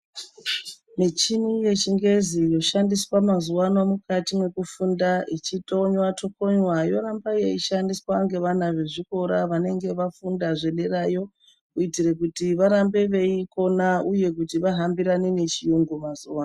Michini yechingezi yoshandiswa mazuvano mukati mekufunda ichi tokonywa tokonywa yoramba yeishandiswa nge vana vezvikora vanenge vafunda zve derayo kuitire kuti varambe veikona uye kuti vahambirane ne chiyungu mazuva ano.